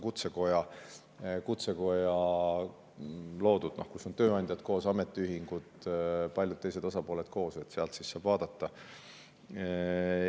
See on Kutsekoja loodud, seal on tööandjad, ametiühingud ja paljud teised osapooled koos, sealt saab vaadata.